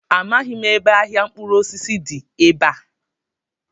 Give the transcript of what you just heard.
Amaghị m ebe ahịa mkpụrụosisi dị ebe a.